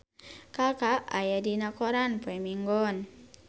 Kaka aya dina koran poe Minggon